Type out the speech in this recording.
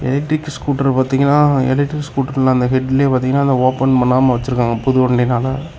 Electric scooter பாத்தீங்கன்னா electric ஸ்கூட்டர்ல அந்த ஹெட்லே பாத்தீங்கன்னா அத ஓபன் பண்ணாம வச்சிருக்காங்க புது வண்டினால.